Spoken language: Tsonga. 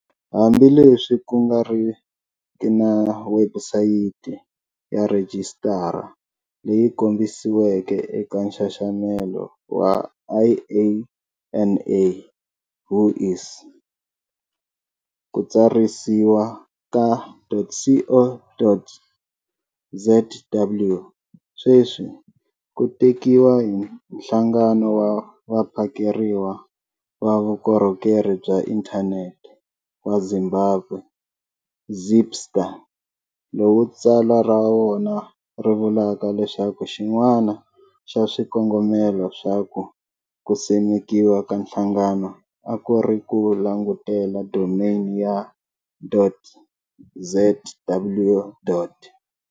Hambi leswi ku nga riki na webusayiti ya rhijisitara leyi kombisiweke eka nxaxamelo wa IANA whois, ku tsarisiwa ka.co.zw sweswi ku tekiwa hi Nhlangano wa Vaphakeriwa va Vukorhokeri bya Inthanete wa Zimbabwe, ZISPA, lowu tsalwa ra wona ri vulaka leswaku xin'wana xa swikongomelo swa ku simekiwa ka nhlangano a ku ri ku langutela domain ya.zw.